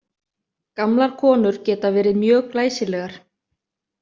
Gamlar konur geta verið mjög glæsilegar.